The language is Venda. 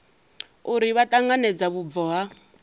uri vha ṱanganedza vhubvo ha